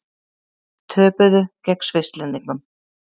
Töpuðu gegn Svisslendingum